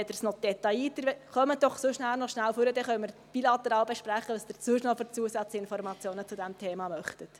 Kommen Sie doch nachher noch schnell zu mir, dann können wir bilateral besprechen, welche Zusatzinformationen Sie zu diesem Thema sonst noch erhalten möchten.